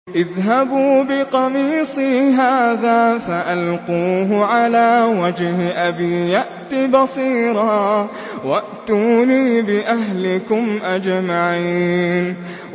اذْهَبُوا بِقَمِيصِي هَٰذَا فَأَلْقُوهُ عَلَىٰ وَجْهِ أَبِي يَأْتِ بَصِيرًا وَأْتُونِي بِأَهْلِكُمْ أَجْمَعِينَ